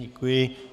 Děkuji.